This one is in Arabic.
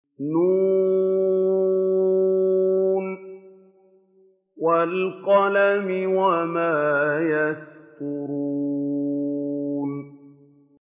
ن ۚ وَالْقَلَمِ وَمَا يَسْطُرُونَ